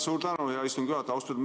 Suur tänu, hea istungi juhataja!